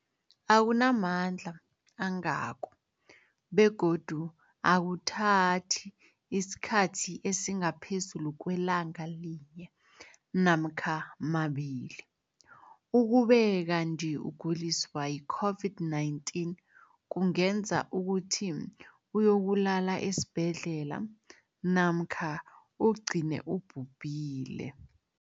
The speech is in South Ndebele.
Akuna mandla angako begodu akuthathi isikhathi esingaphezulu kwelanga linye namkha mabili, ukube kanti ukuguliswa yi-COVID-19 kungenza ukuthi uyokulala esibhedlela namkha ugcine ubhubhile.